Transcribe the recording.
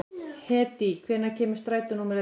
Hedí, hvenær kemur strætó númer ellefu?